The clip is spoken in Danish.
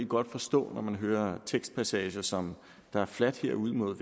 godt forstå når man hører tekstpassager som der er fladt herude mod